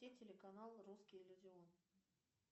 телеканал русский иллюзион